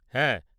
হ্যাঁ।